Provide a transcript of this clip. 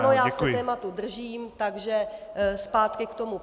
Ano, já se tématu držím, takže zpátky k tomu.